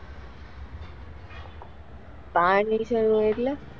બાર નીકળવું હોય એટલે,